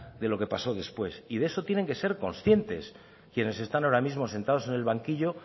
de lo que pasó después y de eso tienen que ser conscientes quienes están ahora mismo sentados en el banquillo